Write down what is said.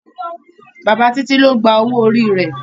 bàbá Titi ló gbà owo orí rẹ